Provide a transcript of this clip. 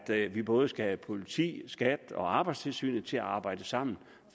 vi både skal have politi skat og arbejdstilsynet til at arbejde sammen